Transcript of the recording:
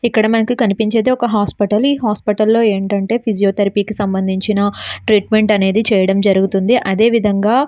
ఇక్కడ మనకు కనిపించేది ఒక హాస్పిటల్ ఈ హాస్పిటల్ లో ఫిజియోథెరపీకి సంబంధించిన ట్రీట్మెంట్ అనేది చేయడం జరుగుతుంది అదే విదంగా --